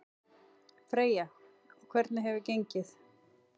Freyja: Og hvernig hefur gengið?